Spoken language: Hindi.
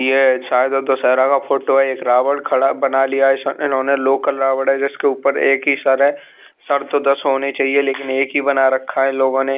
ये शायद दशहरा का फोटो है एक रावण खड़ा बना लिया इन्होंने लोकल रावण है जिसके ऊपर एक ही सर है सर तो दस होने चाहिए लेकिन एक ही बना रखा है इन लोगों ने।